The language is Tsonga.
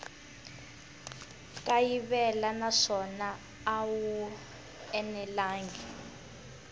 kayivela naswona a wu enelangi